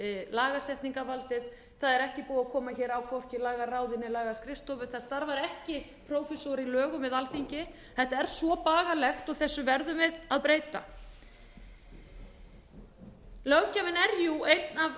lagasetningarvaldið það er ekki búið að koma á hvorki lagaráði né lagaskrifstofu það starfar ekki prófessor í lögum við alþingi þetta er svo bagalegt og þessu verðum við að breyta löggjöfin er